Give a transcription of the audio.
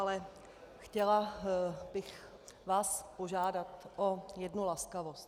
Ale chtěla bych vás požádat o jednu laskavost.